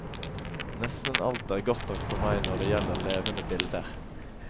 Nesten alt er godt nok for meg når det gjelder levende bilder.